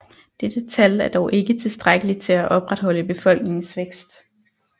Dette tal er dog ikke tilstrækkelig til at opretholde befolkningens vækst